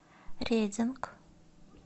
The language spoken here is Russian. рединг